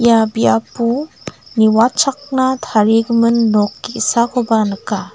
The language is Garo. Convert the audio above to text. ia biapo niwatchakna tarigimin nok ge·sakoba nika.